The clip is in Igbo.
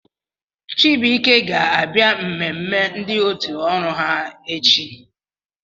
Chibuike ga-abịa mmemme ndị otu ọrụ ha echi